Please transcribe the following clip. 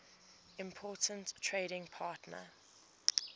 important trading partner